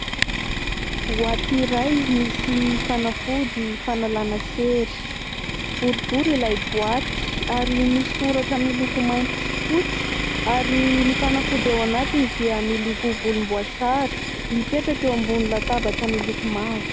Boaty iray misy fanafody fanalana sery : boribory ilay boaty ary misy soratra miloko mainty sy fotsy ary ny fanafody ao anatiny dia miloko volomboasary, mipetraka eo ambonin'ny latabatra miloko mavo.